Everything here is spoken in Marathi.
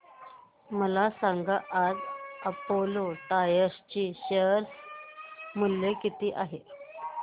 मला सांगा आज अपोलो टायर्स चे शेअर मूल्य किती आहे